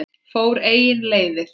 Fór eigin leiðir.